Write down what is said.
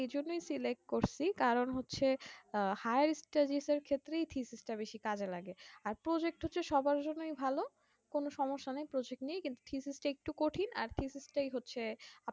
এজন্যই select করছি কারণ হচ্ছে আহ higher studies এর ক্ষেত্রেই থিথিস তা বেশি কাজে লাগে আর project হচ্ছে সবার জন্যেই ভালো কোনো সম্যসা নাই কোনো project নিয়ে কিন্তু physics তা একটু কঠিন আর physics তাই হচ্ছে